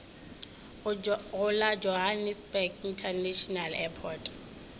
go la johannesburg international airport